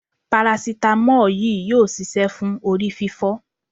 parasitamọ́ọ̀ yìí yóò ṣiṣẹ́ fún orí fífọ́.